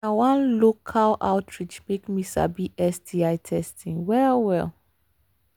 na one local outreach program make me sabi sti testing well well